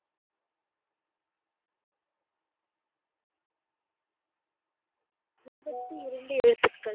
இருபத்து இரண்டு எழுத்துகள்.